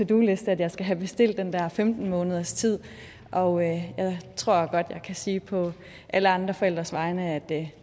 do liste at jeg skal have bestilt den der femten månederstid og jeg tror godt at jeg kan sige på alle andre forældres vegne at det